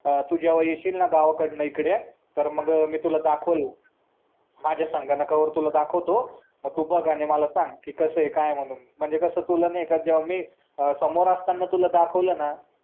तू जेव्हा येशील ना गावाकडनं इकडे तर मी तुला दाखवलं माझा संगणकावर दाखवतो मी तू बघ आणि मला सांग कस काय म्हणून म्हणजे कसंय तुला नाय का जेव्हा मी समोर असताना तुला दाखवला ना